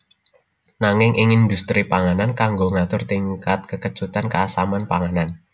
Nanging ing indhustri panganan kanggo ngatur tingkat kekecutan keasaman panganan